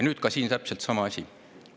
Nüüd on siin täpselt samamoodi.